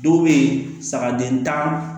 Dɔw bɛ yen saga den tan